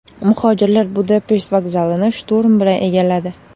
Muhojirlar Budapesht vokzalini shturm bilan egalladi.